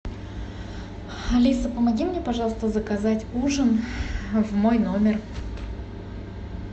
алиса помоги мне пожалуйста заказать ужин в мой номер